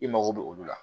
I mago bɛ olu la